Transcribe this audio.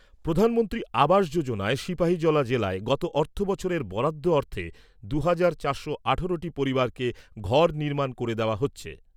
প্রধানমন্ত্রী আবাস যোজনায় সিপাহীজলা জেলায় গত অর্থ বছরের বরাদ্দ অর্থে দু'হাজার চারশো আঠেরোটি পরিবারকে ঘর নির্মাণ করে দেওয়া হচ্ছে।